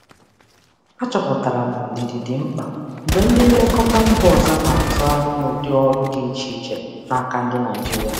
Achọpụtara m na ndidi dị mkpa mgbe ndị nlekọta si mba ọzọ na-atụ anya ụdị ọrụ dị iche site na ndị Naịjirịa.